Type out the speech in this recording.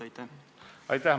Aitäh!